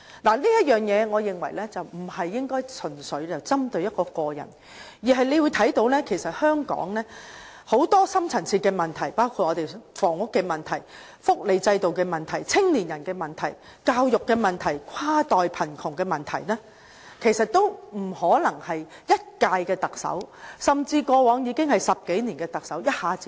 我認為這件事不應純粹針對個人，香港其實有很多深層次問題，包括房屋問題、福利制度問題、青年人問題、教育問題、跨代貧窮問題，其實都不可能由一屆特首，甚至過往10多年歷任特首一下子解決。